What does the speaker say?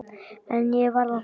En ég varð að fara.